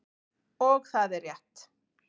Og það er rétt.